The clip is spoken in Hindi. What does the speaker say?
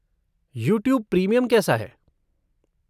यूट्यूब प्रीमियम कैसा है?